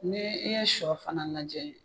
Ni i ye sɔ fana lajɛ